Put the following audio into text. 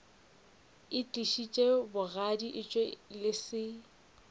itlišitše bogadi etšwe le se